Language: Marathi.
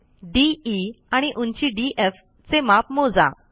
दे आणि उंची डीएफ चे माप मोजा